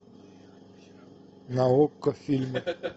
на окко фильмы